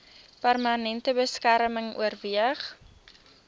permanente beskerming oorweeg